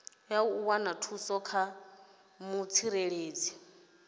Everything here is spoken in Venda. u wana thuso kha mutsireledzi